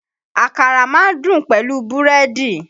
Àkàrà ma ń dùn pẹ̀lú búrédì.